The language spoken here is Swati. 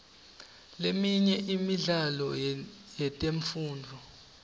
leminye imidlalo yetemfundvo